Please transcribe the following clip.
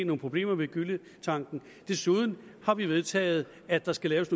nogle problemer med gylletanke og desuden har vi vedtaget at der skal laves